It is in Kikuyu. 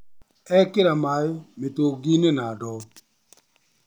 Ekĩraha maĩ mĩtũngi inĩ na ndoo.